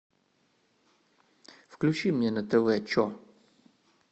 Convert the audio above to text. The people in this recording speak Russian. включи мне на тв че